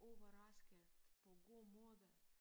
Overrasket på god måde